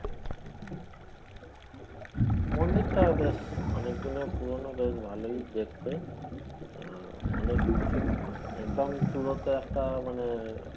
মন্দিরটাও বেশ অনেকদিনের পুরোনো বেশ ভালোই দেখতে, আহ অনেক উঁচু একদম চুড়োতে একটা মানে